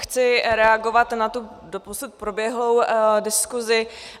Chci reagovat na tu doposud proběhlou diskuzi.